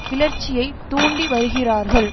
கிளர்ச்சியை தூண்டி வருகிறார்கள்